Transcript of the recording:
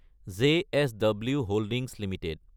JSW holdings Ltd